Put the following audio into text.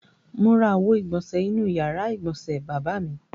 Mo ra àwo-ìgbọ̀nṣẹ̀ inú ìyàrá-ìgbọ̀nsẹ̀ bàbá mi.